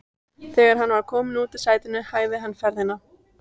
Þegar hann var kominn út úr strætinu hægði hann ferðina.